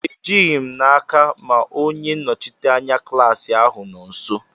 Ejighi m n'aka ma onye nnọchite anya klaasị ahụ nọ nso.